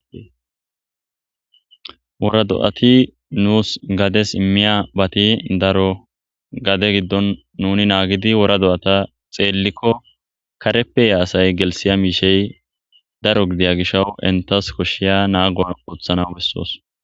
Wora do7ati nuus gades immiya bati daro gade giddon nuni naagidi wora do7ata xeellikko kareppeya asay gelsiya miishey daro gidiya gishawu intas koshshiya naago oothana bessoos.